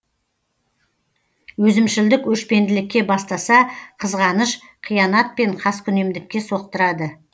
өзімшілдік өшпенділікке бастаса қызғаныш қиянат пен қаскүнемдікке соқтырады